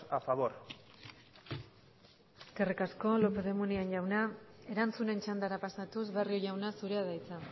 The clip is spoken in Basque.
a favor eskerrik asko lópez de munain jauna erantzunen txandara pasatuz barrio jauna zurea da hitza